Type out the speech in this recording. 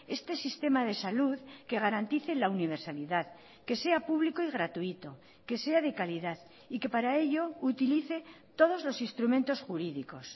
este sistema de salud que garantice la universalidad que sea público y gratuito que sea de calidad y que para ello utilice todos los instrumentos jurídicos